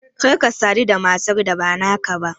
Kar ka sadu da matar da ba naka ba!